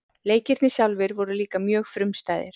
Leikirnir sjálfir voru líka mjög frumstæðir.